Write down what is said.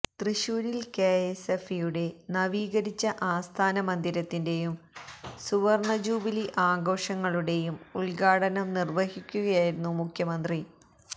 തൃശൂരില് കെഎസ്എഫ്ഇയുടെ നവീകരിച്ച ആസ്ഥാന മന്ദിരത്തിന്റെയും സുവര്ണ ജൂബിലി ആഘോഷങ്ങളുടെയും ഉദ്ഘാടനം നിര്വഹിക്കുകയായിരുന്നു മുഖ്യമന്ത്രി